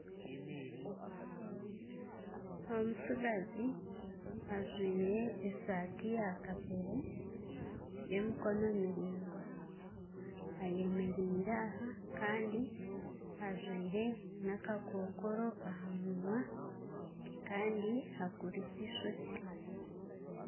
Omutsigazi ajwire esaati ya kapeere y'emikono miraingwa ayemereire aha kandi ajwire n'akakookoro aha munwa kandi akurize eishokye